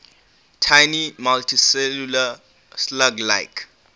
tiny multicellular slug like